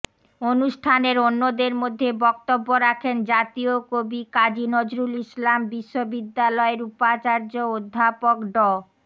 অনুষ্ঠানের অন্যদের মধ্যে বক্তব্য রাখেন জাতীয় কবি কাজী নজরুল ইসলাম বিশ্ববিদ্যালয়ের উপাচার্য অধ্যাপক ড